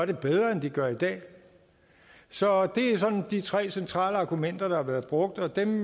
det bedre end de gør i dag så det er sådan de tre centrale argumenter der har været brugt og dem